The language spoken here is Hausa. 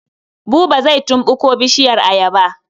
Buba zai tumɓuko bishiyar ayaba.